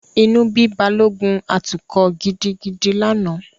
Inú bí Balógun atukọ̀ gidigidi lánàá.